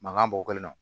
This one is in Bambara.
Mankan bɔ kelen na